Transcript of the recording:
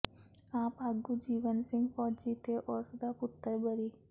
ਆਪ ਆਗੂ ਜੀਵਨ ਸਿੰਘ ਫ਼ੌਜੀ ਤੇ ਉਸ ਦਾ ਪੱੁਤਰ ਬਰੀ